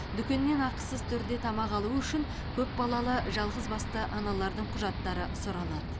дүкеннен ақысыз түрде тамақ алу үшін көпбалалы жалғызбасты аналардың құжаттары сұралады